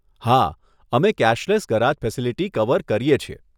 હા, અમે cashless garage facility cover કરીએ છીએ.